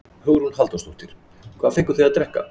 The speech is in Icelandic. Hugrún Halldórsdóttir: Hvað fenguð þið að drekka?